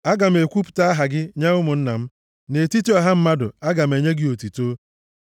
Aga m ekwupụta aha gị nye ụmụnna m; nʼetiti ọha mmadụ aga m enye gị otuto.